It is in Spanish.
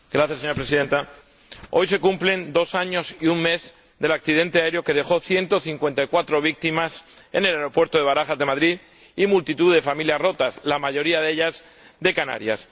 Señora Presidenta, hoy se cumplen dos años y un mes del accidente aéreo que dejó 154 víctimas en el aeropuerto de Barajas, de Madrid, y multitud de familias rotas, la mayoría de ellas de Canarias.